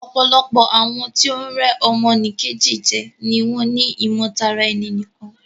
Ọ̀pọ̀lọpọ̀ àwọn tí o ń rẹ́ ọmọ nì Kejì jẹ ni wọ́n ni ìmọ̀ tara ẹni nìkan.